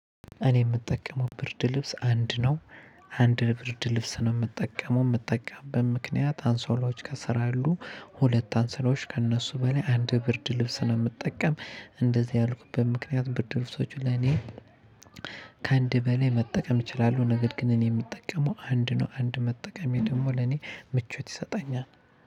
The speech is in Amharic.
እኔ የምጠቀመው ብርድ ልብስ አንድ ነው። አንድ ብርድ ልብስ ነው የምጠቀመው የምጠቀምበት ምክንያት አንሶላዎች ከስር አሉ። ሁለት አንሶላዎች ከእነሱ በላይ አንድ ብርድ ልብስ ነው የምጠቀም እንደዚህ ያልኩበት ምክንያት ብርድ ልብሶች ለኔ። ከአንድ በላይ መጠቀም እችላለሁ ነገር ግን እኔ የምጠቀመው አንድ ነው አንድ መጠቀሜ ደግሞ ለኔ ምቾት ይሰጣኛል።